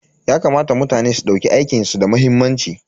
Yakamata mutane su dauki aikin su da muhimmanci.